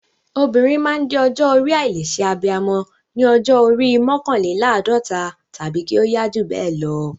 Obìnrin máa ń dé ọjọ́ orí àìlè ṣe abiyamọ ní ọjọ́ orí mọ́kànléláàdọ́ta tàbí kí ó yá jù bẹ́ẹ̀ lọ.